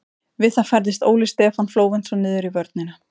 Við það færðist Óli Stefán Flóventsson niður í vörnina.